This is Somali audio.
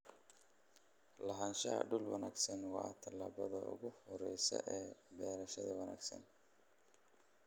Lahaanshaha dhul wanaagsan waa talaabada ugu horeysa ee beerashada wanaagsan.